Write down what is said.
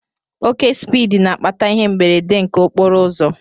Oke spiidi n'akpata ihe mberede nke okporoụzọ